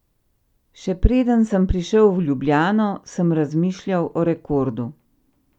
Še preden sem prišel v Ljubljano, sem razmišljal o rekordu.